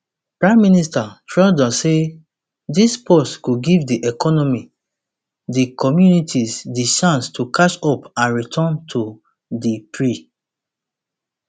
prime minister trudeau say dis pause go give di economy and communities di chance to catch up and return to di pre